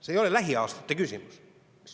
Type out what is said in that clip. See ei ole lähiaastate küsimus.